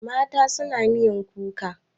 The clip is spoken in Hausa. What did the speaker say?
Mata suna miyan kuka.